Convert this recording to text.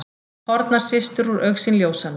Horfnar systur úr augsýn ljósanna.